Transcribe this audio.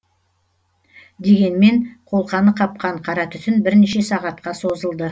дегенмен қолқаны қапқан қара түтін бірнеше сағатқа созылды